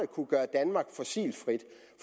kunne gøre danmark frit